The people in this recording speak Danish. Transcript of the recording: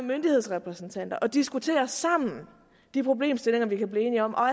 myndighedsrepræsentanter og diskuterer sammen de problemstillinger vi kan blive enige om og